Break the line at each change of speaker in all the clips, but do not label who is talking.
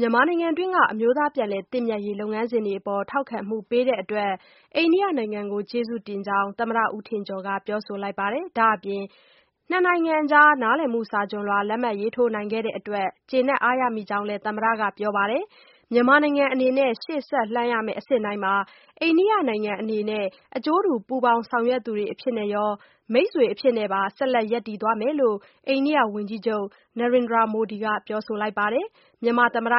မြန်မာနိုင်ငံတွင်းက အမျိုးသားပြန်လည်သင့်မြတ်ရေးလုပ်ငန်းစဉ်တွေအပေါ် ထောက်ခံမှုပေးတဲ့အတွက် အိန္ဒိယနိုင်ငံကို ကျေးဇူးတင်ကြောင်း သမ္မတ ဦးထင်ကျော်က ပြောဆိုလိုက်ပါတယ်။ ဒါ့အပြင် ၂ နိုင်ငံကြား နားလည်မှုစာချွန်လွှာ လက်မှတ်ရေးထိုးနိုင်ခဲ့တဲ့အတွက် ကျေနပ်အားရမိကြောင်းလည်း သမ္မတက ပြောကြားပါတယ်။ မြန်မာနိုင်ငံအနေနဲ့ ရှေ့ဆက်လှမ်းရမယ့် အဆင့်တိုင်းမှာ အိန္ဒိယနိုင်ငံအနေနဲ့ အကျိုးတူပူးပေါင်းဆောင်ရွက်သူတွေအဖြစ်ကော မိတ်ဆွေအဖြစ်နဲ့ပါ ဆက်လက်ရပ်တည်သွားမယ်လို့ အိန္ဒိယ ဝန်ကြီးချုပ် Narendra Modi က ပြောဆိုပါတယ်။ ဒီအကြောင်း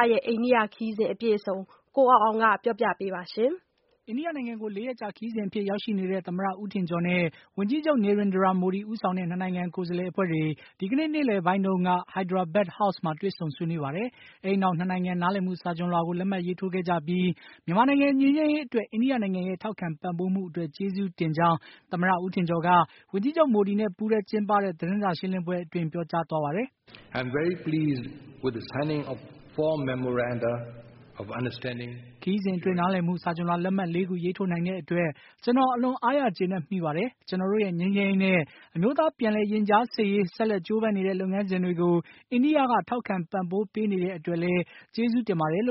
ကိုအောင်အောင်က တင်ပြထားပါတယ်။
အိန္ဒိယနိုင်ငံကို ၄ ရက်ကြာ ခရီးစဉ်အဖြစ် ရောက်ရှိနေတဲ့ သမ္မတ ဦးထင်ကျော်နဲ့ ဝန်ကြီးချုပ်မိုဒီ ဦးဆောင်တဲ့ ၂ နိုင်ငံ ကိုယ်စားလှယ်အဖွဲ့တွေ ဒီကနေ့ နေ့လည်ပိုင်းတုန်းက Hyderabad House မှာ တွေ့ဆုံဆွေးနွေးပါတယ်။ အဲဒီနောက် ၂ နိုင်ငံ နားလည်မှုစာချွန်လွှာ လက်မှတ်ရေးထိုးခဲ့ပြီး မြန်မာနိုင်ငံငြိမ်းချမ်းရေးအတွက် အိန္ဒိယနိုင်ငံရဲ့ ထောက်ခံပံ့ပိုးမှုအတွက် ကျေးဇူးတင်ကြောင်း သမ္မတ ဦးထင်ကျော်က ဝန်ကြီးချုပ်မိုဒီနဲ့ပူးတွဲကျင်းပတဲ့ သတင်းစာရှင်းလင်းပွဲအတွင်း ပြောပါတယ်။
“အခုခရီးစဉ်အတွ
င်း နားလည်မှုစာချွန်လွှာလက်မှတ် ၄ ခု ရေးထိုးနိုင်တဲ့အတွက် ကျနော် အလွန်အားရကျေနပ်မိပါတယ်။ ကျနော်တို့ရဲ့ ငြိမ်းချမ်းရေးနဲ့ အမျိုးသားပြန်လည်ရင်ကြားစေ့ရေး ဆက်လက် ကြိုးပမ်းနေတဲ့ လုပ်ငန်းစဉ်တွေကို အိန္ဒိယက ထောက်ခံပံ့ပိုးနေတဲ့အတွက်လည်း ကျေးဇူးတင်ပါတယ်။” လ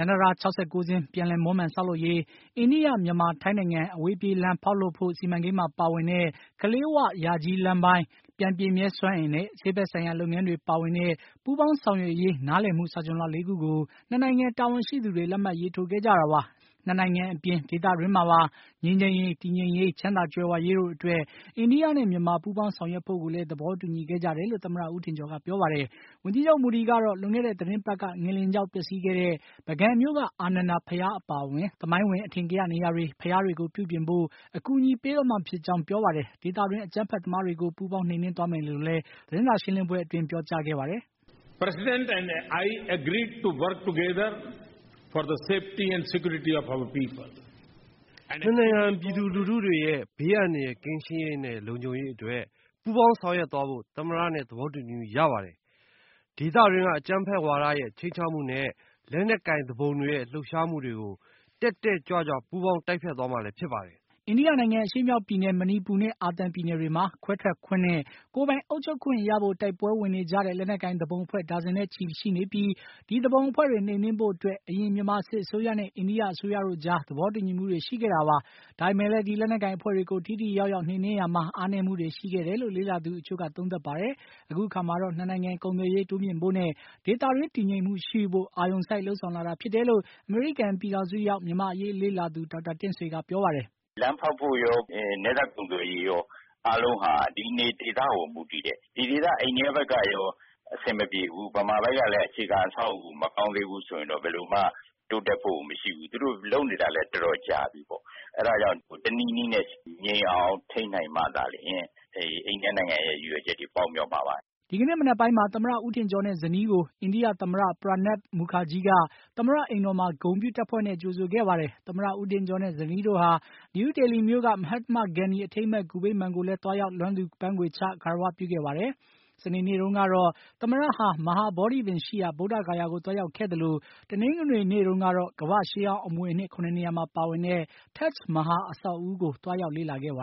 မ်းတံတား ၆၉ စင်း ပြန်လည်မွမ်းမံ ဆောက်လုပ်ရေး၊ အိန္ဒိယ မြန်မာ ထိုင်းနိုင်ငံ အဝေးပြေးလမ်းဖေါက်လုပ်ဖို့ စီမံကိန်းမှာ ပါဝင်တဲ့ ကလေး၀ ယာကြီး လမ်းပိုင်း၊ ပြန်ပြည့်မြဲစွမ်းအင်နဲ့ ဆေးဖက်ဆိုင်ရာ လုပ်ငန်းတွေပါဝင်တဲ့ ပူးပေါင်းဆောင်ရွက်ရေး နားလည်မှုစာချွန်လွှာ ၄ ခုကို ၂ နိုင်ငံ တာဝန်ရှိသူတွေ လက်မှတ်ရေးထိုးခဲ့ကြတာပါ။ အိန္ဒိယနဲ့ မြန်မာနိုင်ငံ အပြင် ဒေသတွင်းမှာပါ ငြိမ်းချမ်းရေး၊ တည်ငြိမ်ရေး၊ ချမ်းသာကြွယ်ဝရေးတို့အတွက် အိန္ဒိယနဲ့ မြန်မာ ပူးပေါင်းဆောင်ရွက်ဖို့ကိုလည်း သဘောတူညီခဲ့ကြတယ်လို့ သမ္မတ ဦးထင်ကျော်က ပြောပါတယ်။ ဝန်ကြီးချုပ် မိုဒီကတော့ လွန်ခဲ့တဲ့ သီတင်းပါတ်က ငလျင်ကြောင့် ပျက်စီးခဲ့တဲ့ ပုဂံမြို့က အာနန္ဒာ ဘုရားအပါအဝင် သမိုင်းဝင် အထင်ကရ နေရာတွေ ဘုရားတွေကို ပြုပြင်ဖို့ အကူအညီပေးသွားမှာဖြစ်ကြောင်း ပြောပါတယ်။ ဒေသတွင်း အကြမ်းဖက်သမားတွေကို ပူးပေါင်း နှိမ်နင်းသွားမယ်လို့လည်း သတင်းစာရှင်းလင်းပွဲအတွင်း ပြောကြားပါတယ်
။ “၂ နိုင်ငံ ပြည်သူလူတွေရဲ့ ဘေးအန္တရယ်ကင်းရှင်းရေးနဲ့ လုံခြုံရေးအတွက် ပူးပေါင်းဆောင်ရွက်သွားဖို့ သမ္မနဲ့ သဘောတူညီမှုရပါတယ်။ ဒေသတွင်းက အကြမ်းဖက်ဝါဒရဲ့ ခြိမ်းခြောက်မှုနဲ့ လက်နက်ကိုင်သူပုန်တွေရဲ့ လှုပ်ရှားမှုတွေကို တက်တက်ကြွကြွ ပူးပေါင်း တိုက်ဖျက်သွားမှာလည်း ဖြစ်ပါတယ်။
” အိန္ဒိယနိုင်ငံအရှေ့မြောက်ပြည်နယ် မဏိပူနဲ့ အာသံပြည်နယ်တွေမှာ ခွဲထွက်ခွင့်နဲ့၊ ကိုယ်ပိုင်အုပ်ချုပ်ခွင့်ရဖို့ တိုက်ပွဲဝင်နေကြတဲ့ လက်နက်ကိုင်သူပုန်အဖွဲ့ ဒါဇင်နဲ့ချီနေပြီး ဒီသူပုန်အဖွဲ့တွေ နှိမ်နင်းဖို့အတွက် အရင်မြန်မာစစ်အစိုးရနဲ့ အိန္ဒိယအစိုအရကြား သဘောတူညီမှုတွေရှိခဲ့တာပါ။ ဒါပေမယ့်လည်း ဒီလက်နက်ကိုင်အဖွဲ့တွေကို ထိထိရောက်ရောက်နှိမ်နင်းရာမှာ အားနည်းမှုတွေရှိတွေခဲ့တယ်လို့ လေ့လာသူအချို့က သုံးသပ်ပါတယ်။ အခုအခါမှာတော့ ၂ နိုင်ငံ ကုန်သွယ်ရေး တိုးမြှင့်ဖို့နဲ့ ဒေသတွင်း တည်ငြိမ်မှုရှိဖို့ အာရုဏ်စိုက်လုပ်ဆောင်လာတာဖြစ်တယ်လို့ အမေရိကန်ပြည်ထောင်စုရောက် မြန်မာ့အရေးလေ့လာသူ ဒေါက်တာတင့်ဆွေက ပြောပါတယ်။ “လမ်းဖောက်ဖို့ရော၊ နယ်စပ်ကုန်သွယ်ရေးရော အားလုံးဟာ ဒီနယ်မြေဒေ
သ ကိုမူတည်တယ်။ ဒီဒေသ အိန္ဒိယဘက်ကရော အဆင်မပြေဘူး မြန်မာဘက်ကလည်း အခြေခံ အဆောက်အဦးမကောင်းသေးဘူးဆိုရင် ဘယ်လိုမှ တိုးတက်ဖို့ကိုမရှိဘူး သူတို့လုပ်နေတာလည်း တော်တော်ကြာပြီ
အဲဒါကြောင့် တနည်နည်းနဲ့ ငြိမ်အောင်ထိန်းသိမ်းနိုင်မှသာလျှင် အိန္ဒိယနိုင်င
ံရဲ့ ရည်ရွယ်ချက်တွေ ပေါက်ရောက်မှာပါ။”
ဒီကနေ့မနက်ပိုင်းမှာ သမ္မတ ဦးထင်ကျော်နဲ့ ဇနီးကို အိန္ဒိယ သမ္မတ Pranab Mukherjee က သမ္မတ အိမ်တော်မှာ ဂုဏ်ပြုတပ်ဖွဲနဲ့ ကြိုဆိုခဲ့ပါတယ်။ သမ္မတဦးထင်ကျော်နဲ့ ဇနီးတို့ဟာ နယူးဒေလီမြို့က မဟတ္တမဂန္ဒီ အထိမ်းအမှတ် ဂူဗိမ္မာန်ကိုလည်း သွားရောက်လွမ်းသူပန်းခွေချ ဂါရဝပြုခဲ့ပါတယ်။ စနေနေ့တုန်းကတော့ သမ္မတဟာ မဟာဗောဓိပင်ရှိရာ ဗုဒ္ဓဂါယာကို သွားရောက်ခဲ့သလို တနင်္ဂနွေနေ့ တုန်းကတော့ ကမ္ဘာ့ရှေးဟောင်းအမွေအနှစ် ၇ နေရာမှာပါဝင်တဲ့ Taj Mahal အဆောက်အဦးကို သွားရောက်ခဲ့ပါ